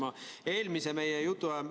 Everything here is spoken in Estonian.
Hea peaminister!